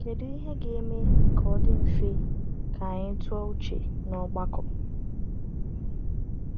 Kedu ihe ga-eme ka o dị mfe ka anyị tụ uche n’ọgbakọ?